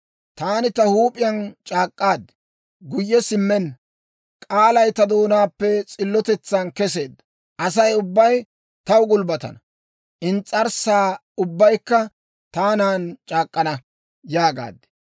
Taani ta huup'iyaan c'aak'k'aad; guyye simmenna k'aalay ta doonaappe s'illotetsan keseedda: ‹Asay ubbay taw gulbbatana; ins's'arssa ubbaykka taanan c'aak'k'ana› yaagaad.